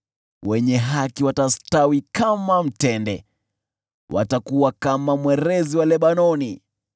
Wenye haki watastawi kama mtende, watakuwa kama mwerezi wa Lebanoni,